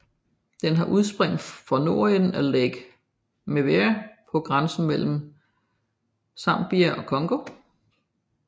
Den har udspring fra nordenden af Lake Mweru på grænsen mellem Zambia og Congo